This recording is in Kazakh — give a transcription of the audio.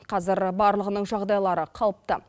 қазір барлығының жағдайлары қалыпты